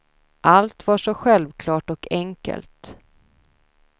Allt var så självklart och enkelt.